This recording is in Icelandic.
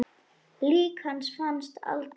Lík hans fannst aldrei.